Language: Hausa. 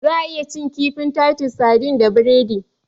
Za'a iya cin kifin "Titus sardines " da biredi.